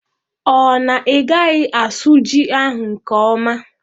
Ọ na igaghi asụ ji ahụ nke ọma?